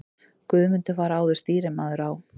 Guðmundur var áður stýrimaður á